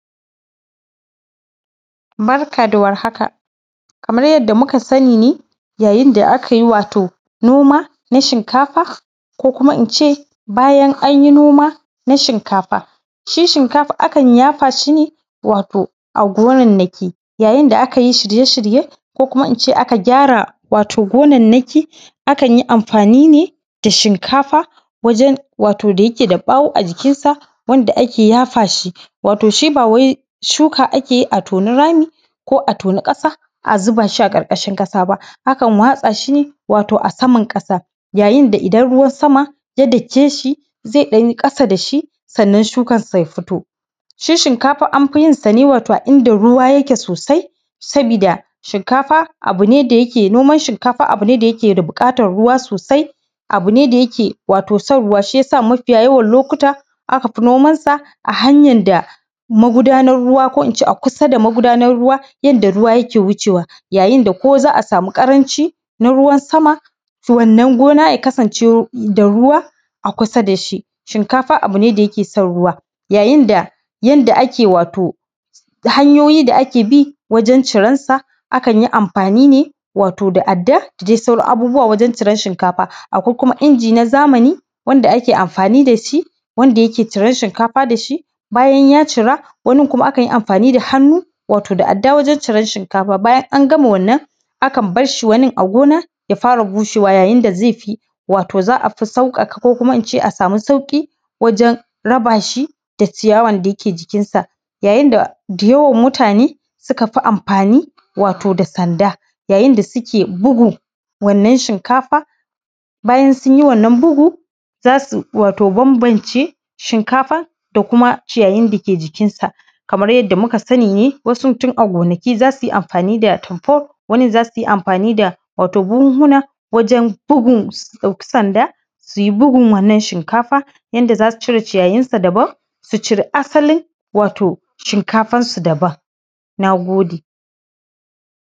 Barka da warhaka, kamar yadda muka sani ne wato idan akayi noma na shinkafa ko kuma ince, bayan anyi noma na shinkafa. Shi shinkafa a kan yafa shi ne wato a gonannaki, yayin da akayi shirye-shirye ko kuma, aka gyara gonannaki akan yi amfani ne da shinkafa wajen wato da yike da bawo a jikinsa, wanda ake yafa shi, wato shi ba wai shuka ake yi a toni rami ko a toni ƙasa a zuba shi a ƙarƙarshin ƙasa ba, akan watsa shi ne wato a saman ƙasa, yayin da idan ruwan sama ya dake shi zai ɗanyi ƙasa dashi sannan shukan shi ya fito. Shi shinkafa anfi yin sa ne, wato a inda ruwa yake sosai, sabida shinkafa abu ne da yake nema, noman shinkafa abu ne da yake da buƙatan ruwa sosai, abu ne da yake son ruwa, wato shi yasa mafiya yawan lokata aka fi nomansa a hanyan da magudanan ruwa, ko ince a kusa da magudanan ruwa, inda ruwa ke wuce wa. Ya yin da ko za a samu ƙaramci na ruwan sama wannan gona ya kasance da ruwa a kusa dashi. Shinkafa abu ne da yake son ruwa, ya yinda yanda ake wato hanyoyi da ake bi wajen ciransa,a kanyi amfani ne wato da adda, da dai sauran abubuwa wajen ciran shinkafa. Akwai kuma inji na zamani wanda ake amfani da shi wanda yake ciran shinkafa dashi, bayan ya cira, wanin kuma akan yi amfani da hannu wato da adda wajen ciran shinkafa, bayan an gama wannan akan barshi wanin a gona ya fara bushewa, yayin da zefi, wato za a fi sauƙaƙa ko kuma ince a samu sauƙi wajen rabashi da ciyawan da yake jikinsa. Yayin da yawan mutane suka fi amfani wato da sanda, yayin da suke bugun wannan shinkafa, bayan sun yi wannan bugu, za su wato bambamce shinkafa da kuma ciyayyin da ke jikinsa. Kamar yadda muka sani ne, wasu tun a gonaki za su yi amfani da tumfol, wasun za su yi amfani wato da buhunhuna wajen bugun sanda, su yi bugun wannan shinkafa yanda za su cire ciyayyinsa daban, su cire asalin wato shinkafan su daban. Na gode.